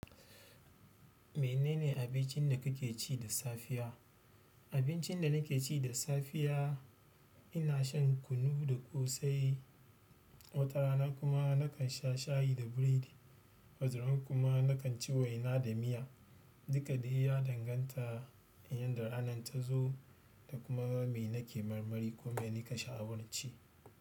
Menene abincin dakake ci da safiya. Abincin da nake ci da safiya, ina shan kunu da ƙosai. Wata rana kuma na kan sha shayi da biredi. Wata rana kuma na kan ci waina da miya. Duka dai ya danganta in yarda ranan ta zo da kuma me nake marmari ko me nika sha'awar ci.